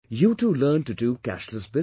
You too learn to do cashless business